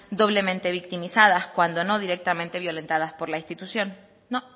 doblemente victimizadas cuando no directamente violentadas por la institución no